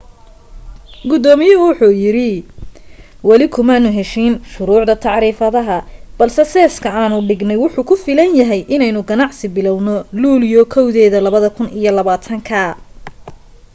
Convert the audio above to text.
gudoomiyuhu wuxu yiri weli kumaanu heshiin shuruucda tacriifadaha balse seeska aanu dhignay wuxu ku filan yahay inaynu ganacsi bilawno luulyo 1 2020